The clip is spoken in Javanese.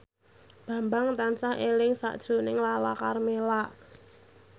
Bambang tansah eling sakjroning Lala Karmela